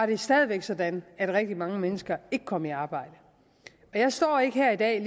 det stadig væk sådan at rigtig mange mennesker ikke kom i arbejde jeg står ikke her i dag og